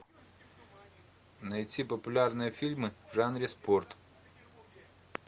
найти популярные фильмы в жанре спорт